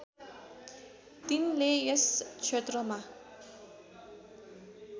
तिनले यस क्षेत्रमा